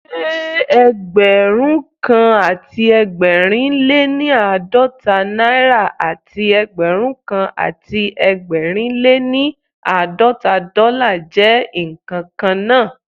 Ṣé Ẹgbẹ̀rúnkan àti ẹgbẹ̀rin lé ní àádọ́ta náírà àti Ẹgbẹ̀rúnkan àti ẹgbẹ̀rin lé ní àádọ́ta dọ́là jẹ́ ǹkan kan náà?